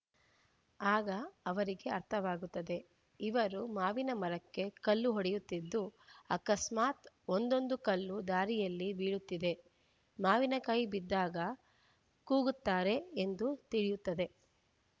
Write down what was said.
ಆಗ ಇವರಿಗೆ ಅರ್ಥವಾಗುತ್ತದೆ ಇವರು ಮಾವಿನಮರಕ್ಕೆ ಕಲ್ಲು ಹೊಡೆಯುತ್ತಿದ್ದು ಅಕಸ್ಮಾತ್‌ ಒಂದೊಂದು ಕಲ್ಲು ದಾರಿಯಲ್ಲಿ ಬೀಳುತ್ತಿದೆ ಮಾವಿನಕಾಯಿ ಬಿದ್ದಾಗ ಕೂಗುತ್ತಾರೆ ಎಂದು ತಿಳಿಯುತ್ತದೆ